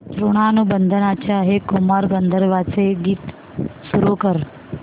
ऋणानुबंधाच्या हे कुमार गंधर्वांचे गीत सुरू कर